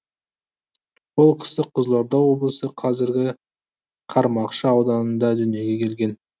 ол кісі қызылорда облысы қазіргі қармақшы ауданында дүниеге келген